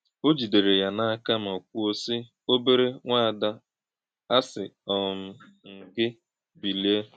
Ọ jì̄dèrè̄ yá n’ákà̄ mà̄ kwúó̄, sí̄: “Òbèrè̄ nwá̄àdá̄, àsí̄ um m̄ gị̣, Bìlìè̄!”